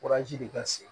de ka se